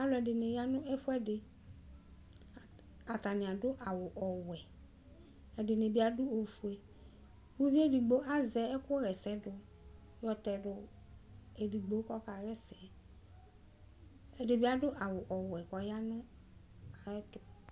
Ɔlu ɛdini yanʋ ɛfʋ ɛdiAtani aɖʋ awu ɔwɛɛdini bi adʋ ofueuvi edigbo azɛ ɛkʋ ma ɛsɛ duKʋ ayɔ tɛ du edigbo , kʋ ɔkaɣa ɛsɛ Ɛdi bi adʋ awu ɔwɛ , kʋ ɔya nʋ ayiʋ ɛtu